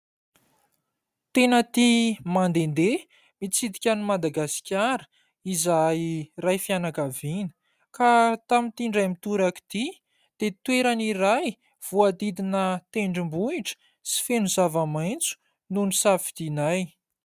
Tena tia mandehandeha mitsidika an'i Madagasikara izahay iray fianakaviana. Ka tamin'ity indray mitoraka ity dia toerany iray voadidina tendrombohitra sy feno zava-maitso no nosafidianay.